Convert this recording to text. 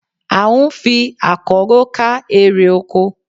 À ń fi àkọ́rọ́ ká eré oko